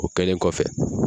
O kɛlen kɔfɛ